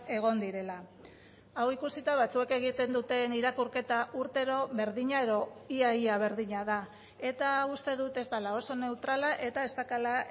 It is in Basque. egon direla hau ikusita batzuek egiten duten irakurketa urtero berdina edo ia ia berdina da eta hau uste dut ez dela oso neutrala eta ez daukala